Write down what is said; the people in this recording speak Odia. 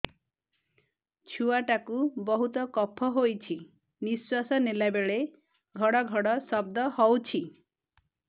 ଛୁଆ ଟା କୁ ବହୁତ କଫ ହୋଇଛି ନିଶ୍ୱାସ ନେଲା ବେଳେ ଘଡ ଘଡ ଶବ୍ଦ ହଉଛି